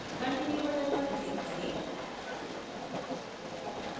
continue button पर click करें